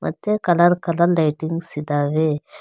ಮತ್ತೆ colour colour lightings ಇದಾವೆ.